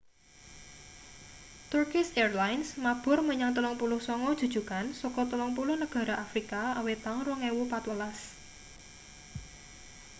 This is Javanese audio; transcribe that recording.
turkish airlines mabur menyang 39 jujugan saka 30 negara afrika awit taun 2014